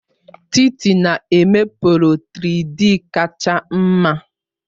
Titi na-eme polo 3-Dịị kacha mma.